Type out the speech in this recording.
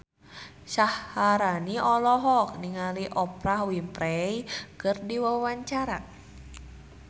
Syaharani olohok ningali Oprah Winfrey keur diwawancara